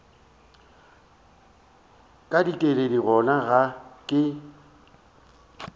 ka dikeledi gona ga ke